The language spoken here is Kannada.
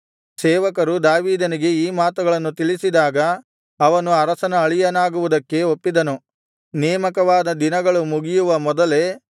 ಸೇವಕರು ದಾವೀದನಿಗೆ ಈ ಮಾತುಗಳನ್ನು ತಿಳಿಸಿದಾಗ ಅವನು ಅರಸನ ಅಳಿಯನಾಗುವುದಕ್ಕೆ ಒಪ್ಪಿದನು ನೇಮಕವಾದ ದಿನಗಳು ಮುಗಿಯುವ ಮೊದಲೇ